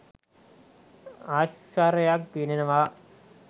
ආශ්චර්යක් ගෙනෙනවා.